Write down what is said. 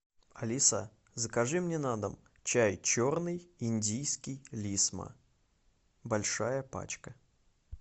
алиса закажи мне на дом чай черный индийский лисма большая пачка